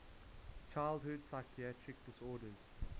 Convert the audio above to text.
childhood psychiatric disorders